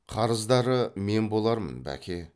қарыздары мен болармын бәке